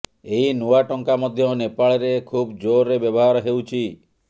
ଏହି ନୂଆ ଟଙ୍କା ମଧ୍ୟ ନେପାଳରେ ଖୁବ ଯୋରରେ ବ୍ୟବହାର ହେଉଛି